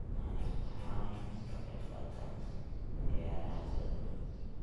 waxayna ka qayb qaataan ciyaaraha kala duwan.